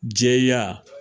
Jɛya.